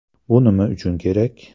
Bu nima uchun kerak?